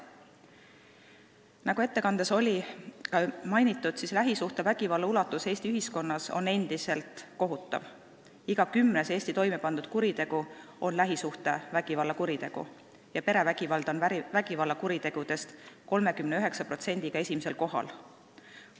Nagu ettekandes oli ka mainitud, lähisuhtevägivalla ulatus Eesti ühiskonnas on endiselt kohutav: iga kümnes Eestis toimepandud kuritegu on lähisuhtevägivalla kuritegu, perevägivald on vägivallakuritegude seas 39%-ga esimesel kohal.